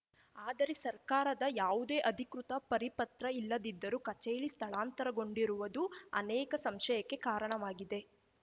ಆದರೆ ಸರ್ಕಾರದ ಯಾವುದೇ ಅಧಿಕೃತ ಪರಿಪತ್ರ ಇಲ್ಲದಿದ್ದರೂ ಕಚೇರಿ ಸ್ಥಳಾಂತರಗೊಂಡಿರುವದು ಅನೇಕ ಸಂಶಯಕ್ಕೆ ಕಾರಣವಾಗಿದೆ